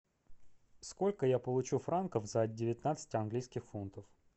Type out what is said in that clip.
сколько я получу франков за девятнадцать английских фунтов